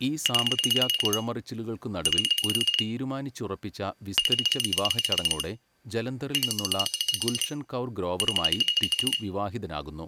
ഈ സാമ്പത്തിക കുഴമറിച്ചിലുകൾക്കുനടുവിൽ ഒരു തീരുമാനിച്ചുറപ്പിച്ച വിസ്തരിച്ച വിവാഹച്ചടങ്ങോടെ ജലന്ധറിൽനിന്നുള്ള ഗുൽഷൻ കൗർ ഗ്രോവറുമായി ടിറ്റു വിവാഹിതനാകുന്നു.